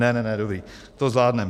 Ne, ne, ne, dobrý, to zvládnem.